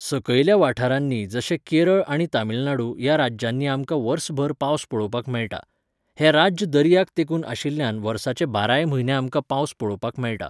सकयल्या वाठारांनी जशें केरळ आनी तामीळनाडू ह्या राज्यांनी आमकां वर्सभर पावस पळोवपाक मेळटा. हें राज्य दर्याक तेंकून आशिल्ल्यान वर्साचे बाराय म्हयने आमकां पावस पळोवपाक मेळटा